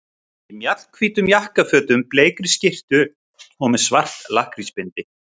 Í mjallhvítum jakkafötum, bleikri skyrtu og með svart lakkrísbindi.